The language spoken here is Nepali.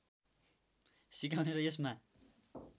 सिकाउने र यसमा